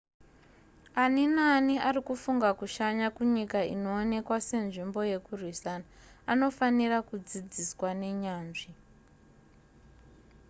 ani naani ari kufunga kushanya kunyika inoonekwa senzvimbo yekurwisana anofanira kudzidziswa nenyanzvi